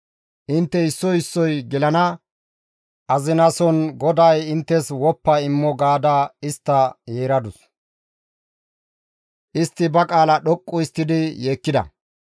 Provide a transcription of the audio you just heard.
Intte issoy issoy gelana azinason GODAY inttes woppa immo» gaada istta yeeradus. Istti ba qaala dhoqqu histtidi yeekkida;